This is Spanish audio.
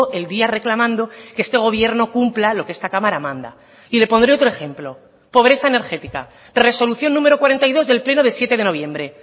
el día reclamando que este gobierno cumpla lo que esta cámara manda y le pondré otro ejemplo pobreza energética resolución número cuarenta y dos del pleno de siete de noviembre